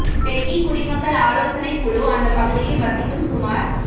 tech கீ குடிமக்கள் ஆலோசனைக் குழு அந்தப் பகுதியில் வசிக்கும் சுமார்